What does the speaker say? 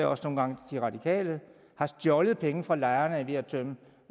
også nogle gange de radikale har stjålet penge fra lejerne ved at tømme